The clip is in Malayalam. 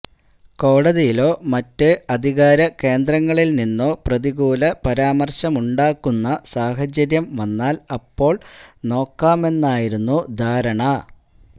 കോടതിയിലോ മറ്റ് അധികാരകേന്ദ്രങ്ങളില് നിന്നോ പ്രതികൂല പരാമര്ശമുണ്ടാകുന്ന സാഹചര്യം വന്നാല് അപ്പോള് നോക്കാമെന്നായിരുന്നു ധാരണ